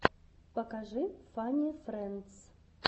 покажи фанни френдс